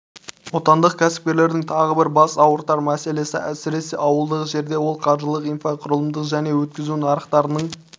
отандық кәсіпкерлердің тағы бір бас ауыртар мәселесі әсіресе ауылдық жерде ол қаржылық инфрақұрылымдық және өткізу нарықтарының